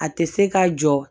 A tɛ se ka jɔ